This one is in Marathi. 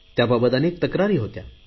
त्याबाबत अनेक तक्रारी होत्या